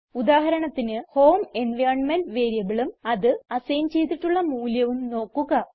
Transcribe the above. ഉദാഹരണത്തിന് home environment വേരിയബിളും അതിന് അസൈൻ ചെയ്തിട്ടുള്ള മൂല്യവും നോക്കുക